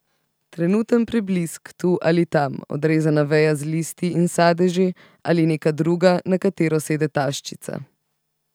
Trenuten preblisk tu ali tam, odrezana veja z listi in sadeži, ali neka druga, na katero sede taščica.